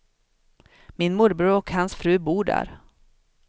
Min morbror och hans fru bor där.